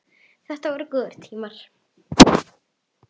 Þetta voru góðir tímar.